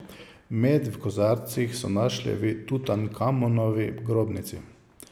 Med v kozarcih so našli v Tutankamonovi grobnici.